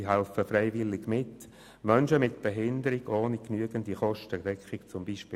Sie helfen freiwillig mit, Menschen mit Behinderungen ohne genügende Kostendeckung aufzunehmen;